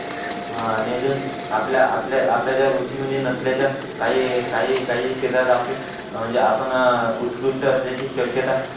हां आणि अजून आपल्या आपल्या ज्या रुची मध्ये नसल्याच्या काही काही काही म्हणजे आपण अह उत्कृष्ठ असल्याची शक्यता